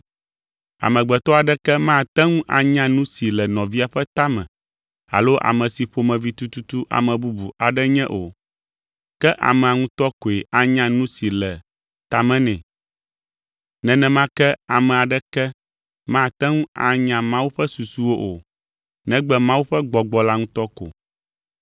Amegbetɔ aɖeke mate ŋu anya nu si le nɔvia ƒe ta me alo ame si ƒomevi tututu ame bubu aɖe nye o, ke amea ŋutɔ koe anya nu si le ta me nɛ. Nenema ke ame aɖeke mate ŋu anya Mawu ƒe susuwo o, negbe Mawu ƒe Gbɔgbɔ la ŋutɔ ko.